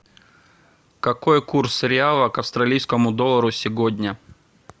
какой курс реала к австралийскому доллару сегодня